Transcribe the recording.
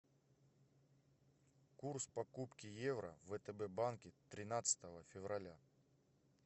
курс покупки евро в втб банке тринадцатого февраля